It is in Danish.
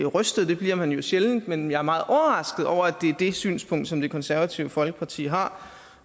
rystet det bliver man jo sjældent men jeg er meget overrasket over at det er det synspunkt som det konservative folkeparti har